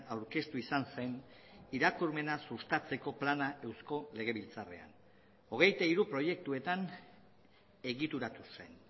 aurkeztu izan zen irakurmena sustatzeko plana eusko legebiltzarrean hogeita hiru proiektuetan egituratu zen